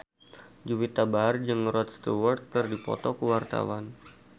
Juwita Bahar jeung Rod Stewart keur dipoto ku wartawan